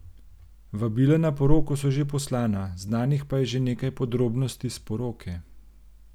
Vabila na poroko so že poslana, znanih pa je že nekaj podrobnosti s poroke.